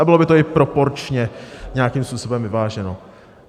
A bylo by to i proporčně nějakým způsobem vyváženo.